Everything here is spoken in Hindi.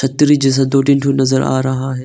जैसा दो तीन ठो नजर आ रहा है।